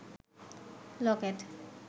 Locket